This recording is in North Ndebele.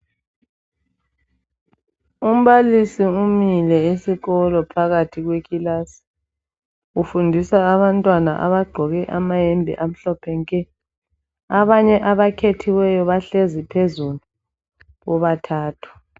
Umbalisi umile esikolo phakathi kwekilasi ufundisa abantwana abagqoke amahembe amhlophe nke, abanye abakhethiweyo bahlezi phezulu bobathathu.